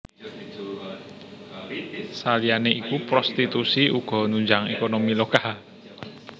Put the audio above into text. Saliyané iku prostitusi uga nunjang ékonomi lokal